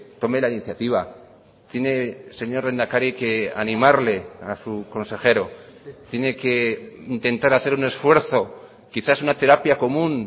tome la iniciativa tiene señor lehendakari que animarle a su consejero tiene que intentar hacer un esfuerzo quizás una terapia común